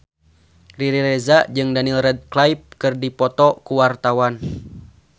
Riri Reza jeung Daniel Radcliffe keur dipoto ku wartawan